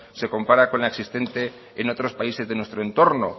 se compara con la existente en otros países de nuestro entorno